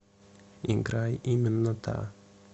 играй именно та